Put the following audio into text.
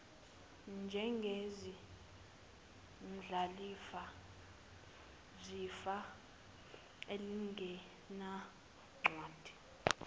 njengezindlalifa zefa elingenancwadi